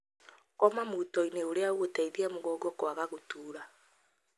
Koma Mutoinĩ ũrĩa ũgũteithia mũgongo kwaga gũtura.